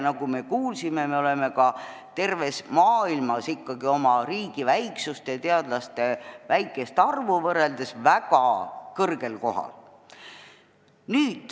Nagu me kuulsime, me oleme terves maailmas ikkagi oma riigi väiksust ja teadlaste väikest arvu arvestades väga kõrgel kohal.